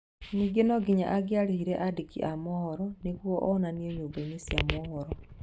Ningĩ no nginya angĩarĩhire andĩki a mohoro nĩguo onanio nyũmbainĩ cia mohoro